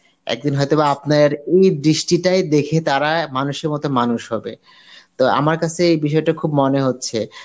একদিন হয়তো বা আপনার ওই দৃষ্টিটাই দেখে তারা মানুষের মত মানুষ হবে. তো আমার কাসে এই বিষয়টা খুব মনে হচ্ছে.